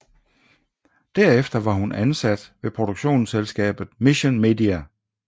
Derefter var hun ansat ved produktionsselskabet Mission Media